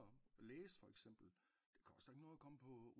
Læse for eksempel det koster ikke noget at komme på